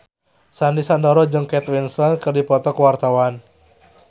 Sandy Sandoro jeung Kate Winslet keur dipoto ku wartawan